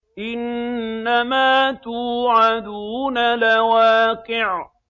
إِنَّمَا تُوعَدُونَ لَوَاقِعٌ